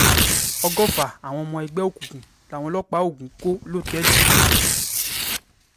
ọgọ́fà àwọn ọmọ ẹgbẹ́ òkùnkùn làwọn ọlọ́pàá ogun kò lọ́tẹ̀ẹ̀lì kan